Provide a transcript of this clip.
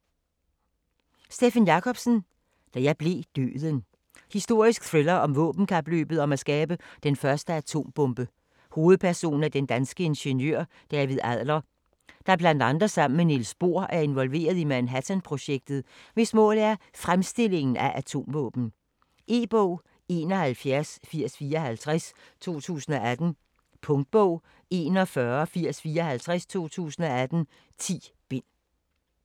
Jacobsen, Steffen: Da blev jeg Døden Historisk thriller om våbenkapløbet om at skabe den første atombombe. Hovedperson er den danske ingeniør David Adler, der bl.a. sammen med Niels Bohr er involveret i Manhattan-projektet, hvis mål er fremstillingen af atomvåben. E-bog 718054 2018. Punktbog 418054 2018. 10 bind.